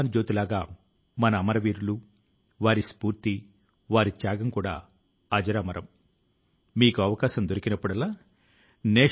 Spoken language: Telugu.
మీ ప్రాంతం లో లేదా నగరం లో ఎవరికైనా సహాయం చేయడానికి సాధ్యమయ్యే దాని కంటే ఎక్కువ చేయడానికి ప్రయత్నించారు